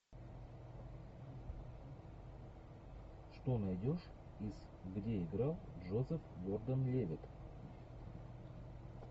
что найдешь из где играл джозеф гордон левитт